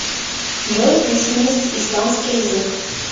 джой письменность испанский язык